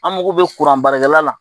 An mako be kuranbaarakɛla la.